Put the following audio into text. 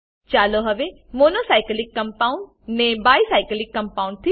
ચાલો હવે mono cyclic compound ને bi સાયક્લિક કમ્પાઉન્ડ